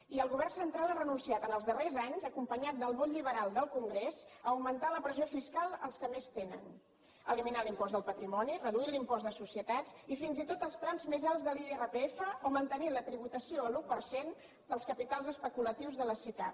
i el govern central ha renunciat en els darrers anys acompanyat del vot liberal del congrés a augmentar la pressió fiscal als que més tenen eliminant l’impost del patrimoni reduint l’impost de societats i fins i tot els trams més alts de l’irpf o mantenint la tributació a l’u per cent dels capitals especulatius de les sicav